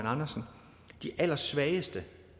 andersen de allersvageste